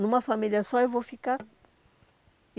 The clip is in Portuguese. Numa família só eu vou ficar. E